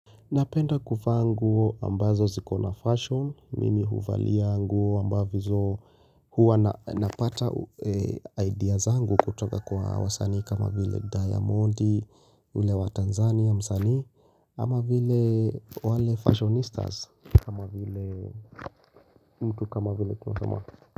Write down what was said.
Napenda kuvaa nguo ambazo ziko na fashion mimi huvalia nguo ambazo huwa napata idea zangu kutoka kwa wasanii kama vile Diamond ule wa Tanzania msanii ama vile wale fashionistas kama vile mtu kama vile Kusama.